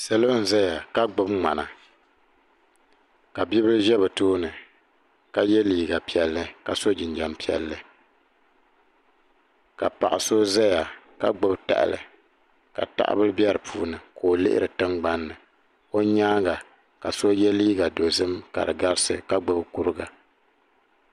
Salo n zaya n gbibi ŋmana ka bibila ʒɛ bɛ tooni ka ye liiga piɛlli ka so jinjiɛm piɛlli ka paɣa so zaya ka gbibi tahali ka tahabila be dipuuni ka o lihiri tingbanni o nyaanga ka so ye liiga dozim ka di garisi ka gbibi kuriga.